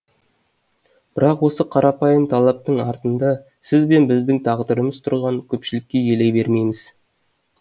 бірақ осы қарапайым талаптың артында сіз бен біздің тағдырымыз тұрғанын көпшілігіміз елей бермейміз